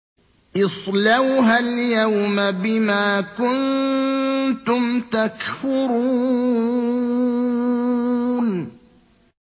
اصْلَوْهَا الْيَوْمَ بِمَا كُنتُمْ تَكْفُرُونَ